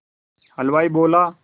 हलवाई बोला